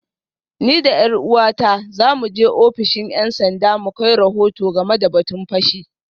Ni da ’yar’uwata za mu je ofishin ‘yan sanda mu kai rahoto game da batun fashi